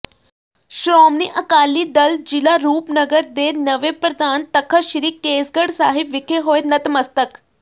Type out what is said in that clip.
ਸ਼ੋ੍ਰਮਣੀ ਅਕਾਲੀ ਦਲ ਜ਼ਿਲ੍ਹਾ ਰੂਪਨਗਰ ਦੇ ਨਵੇਂ ਪ੍ਰਧਾਨ ਤਖ਼ਤ ਸ੍ਰੀ ਕੇਸਗੜ੍ਹ ਸਾਹਿਬ ਵਿਖੇ ਹੋਏ ਨਤਮਸਤਕ